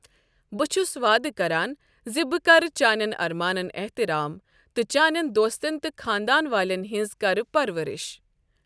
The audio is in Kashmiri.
بہٕ چھُس وعدٕ کران زِ بہٕ کرٕ چانٮ۪ن اَرمانَن احترام، تہٕ چانٮ۪ن دوستن تہٕ خاندان والٮ۪ن ہنٛز کرٕ پرورش۔